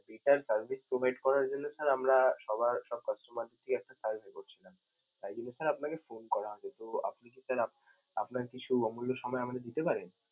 better service provide করার জন্য sir আমরা সবার সব customer কে নিয়ে একটা survey করছিলাম. তাই জন্যে sir আপনাকে phone করা. আপনার কিছু অমূল্য সময় আমাদের দিতে পারেন?